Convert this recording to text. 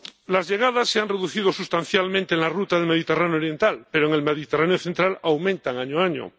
Las llegadas se han reducido sustancialmente en la ruta del Mediterráneo oriental, pero en el Mediterráneo central aumentan año a año.